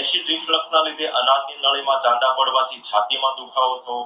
acid Reflect ના લીધે આનાઓની નળીના માં ચાંદા પડવાથી છાતીમાં દુખાવો થવો,